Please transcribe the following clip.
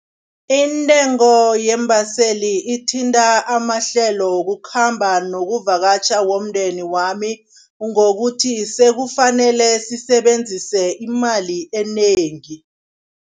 Intengo yeembaseli ithinta amahlelo wokukhamba nokuvakatjha womndeni wami ngokuthi, sekufanele sisebenzise imali enengi.